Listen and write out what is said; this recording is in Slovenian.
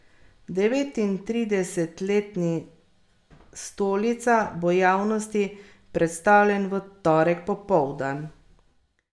Devetintridesetletni Stolica bo javnosti predstavljen v torek popoldan.